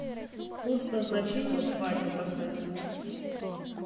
пункт назначения свадьба поставь